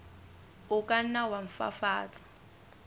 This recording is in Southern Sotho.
o ka nna wa fafatsa